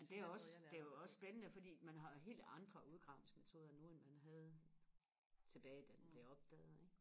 men det er også det er jo også spændende fordi man har jo helt andre udgravningsmetoder nu end man havde tilbage da den blev opdaget ikke